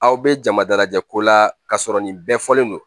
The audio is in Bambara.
Aw bɛ jama dalajɛ ko la k'a sɔrɔ nin bɛɛ fɔlen don